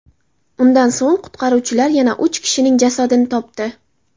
Undan so‘ng qutqaruvchilar yana uch kishining jasadini topdi.